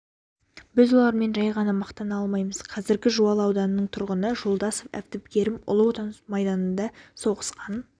біз олармен ғана мақтана алмаймыз қазіргі жуалы ауданының тұрғыны жолдасов әбдікерім ұлы отан майданында соғысқан